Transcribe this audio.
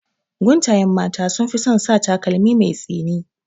Guntayen mata sunfi son sa takalmi mai tsini